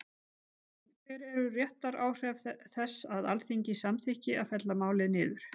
En hver eru réttaráhrif þess að Alþingi samþykki að fella málið niður?